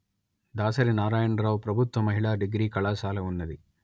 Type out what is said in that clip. దాసరి నారాయణరావు ప్రభుత్వ మహిళా డిగ్రీ కళాశాల ఉన్నది